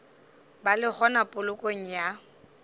ba le gona polokong ya